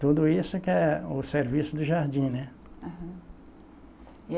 Tudo isso que é o serviço de jardim, né? Aham